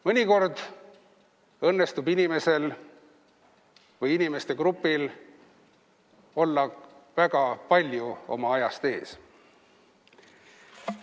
Mõnikord õnnestub inimesel või inimeste grupil olla väga palju oma ajast ees.